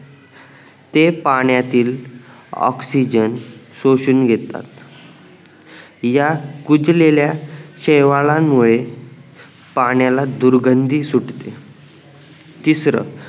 ते पाण्यातील ऑक्सिजन शोषून घेतात या कुजलेला शैवाल्यांमुळे पाण्याला दुर्घन्धी सुटते तिसर ते पाण्यातील ऑक्सिजनशोषून घेतात